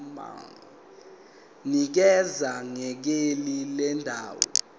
nikeza ngekheli lendawo